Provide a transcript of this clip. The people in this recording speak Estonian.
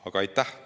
Aitäh!